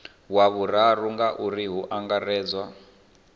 wa vhuraru ngauri hu angaredzwa